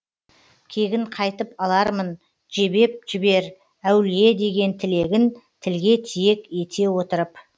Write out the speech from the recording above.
кегін қайтып алармын жебеп жібер әулие деген тілегін тілге тиек ете отырып